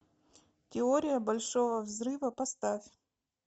теория большого взрыва поставь